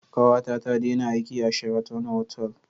Kawata ta dena aiki a Sheraton otal